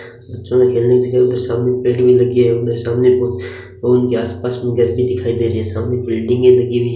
बच्चो के खेलने की चीज है उधर सामने पेड़ भी लगी है उधर सामने को उनके आसपास भी दिखाई दे रही है सामने बिल्डिंगे लगी हुई --